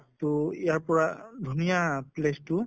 তʼ ইয়াৰ পৰা ধুনীয়া place টো